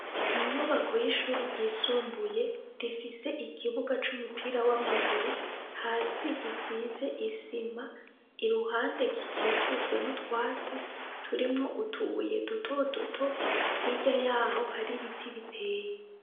Inyubako yishure ryisumbuye rifise ikibuga c'umupira wamaguru hasi gisize isima iruhande gikikujwe n'utwatsi turimwo utubuye duto duto hirya yaho hari ibiti biteye.